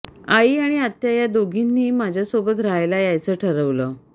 आई आणि आत्या या दोघींनीही माझ्यासोबत रहायला यायचं ठरवलं